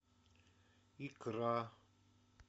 икра